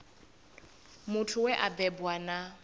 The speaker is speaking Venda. muthu we a bebwa na